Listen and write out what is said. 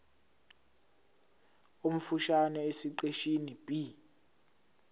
omfushane esiqeshini b